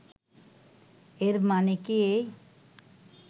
এর মানে কি এই